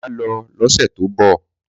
Mà lò lọsẹ tọ bọ.